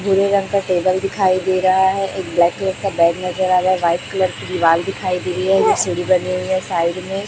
भूरे रंग का टेबल दिखाई दे रहा है एक ब्लैक कलर का बैग नजर रहा है व्हाइट कलर की दिवाल दिखाई दे रही है सीढ़ी बनी हुई है साइड में --